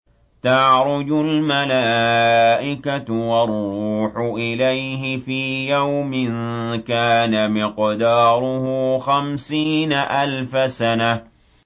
تَعْرُجُ الْمَلَائِكَةُ وَالرُّوحُ إِلَيْهِ فِي يَوْمٍ كَانَ مِقْدَارُهُ خَمْسِينَ أَلْفَ سَنَةٍ